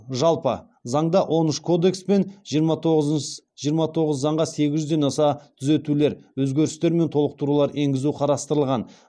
жалпы заңда он үш кодекс пен жиырма тоғыз заңға сегіз жүзден аса түзетулер өзгерістер мен толықтырулар енгізу қарастырылған